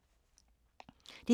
DR2